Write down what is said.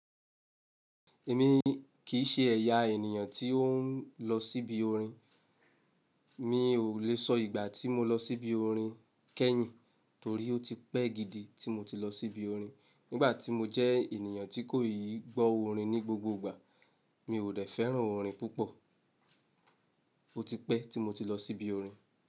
Èmi kìí ṣe ẹ̀yà ènìyàn tí ó n lọ sí ibi orin. Mi ò le sọ ìgbà tí mo lọ sí ibi orin kẹ́yìn torí ó ti pẹ́ gidi tí mo ti lọ sí ibi orin. Nígbà tí mo jẹ́ ènìyàn tí kò í gbọ́ orin ní gbogbo ìgbà, mi ò dẹ fẹ́ràn orin púpọ̀. Ó ti pẹ́ tí mo ti lọ sí ibi orin.